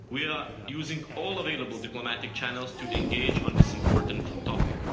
We are using all available diplomatic channels to engage on this important topic.